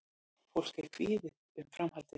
Fólk er kvíðið um framhaldið